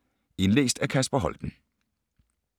Indlæst af: